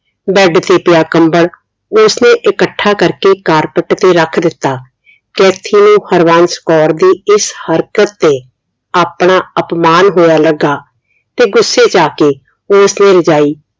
bed ਤੇ ਪਿਆ ਕੰਬਲ ਉਸਨੇ ਇਕੱਠਾ ਕਰਕੇ carpet ਤੇ ਰੱਖ ਦਿੱਤਾ ਕੈਥੀ ਨੂੰ ਹਰਬੰਸ ਕੌਰ ਦੀ ਇਸ ਹਰਕਤ ਤੇ ਆਪਣਾ ਅਪਮਾਨ ਹੋਇਆ ਲਗਾ ਤੇ ਗੁੱਸੇ ਚ ਆਕੇ ਉਸ ਨੇ ਰਜਾਈ